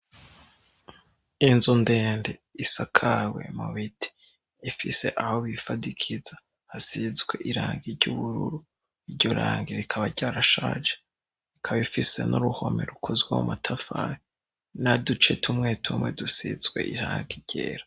Inzu ndende isakawe mubiti ifise aho bifadikiza hasizwe iranga iry'ubururu iryo ranga rikaba ryarashaje ikaba ifise n'uruhome rukozwe mu matafahe naducetumwete umwe dusizwe irangagera.